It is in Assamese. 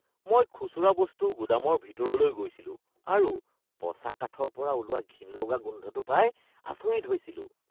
মই খুচুৰা বস্তুৰ গুদামৰ ভিতৰলৈ গৈছিলো আৰু পচা কাঠৰ পৰা ওলোৱা ঘিণ লগা গোন্ধটো পাই আচৰিত হৈছিলোঁ।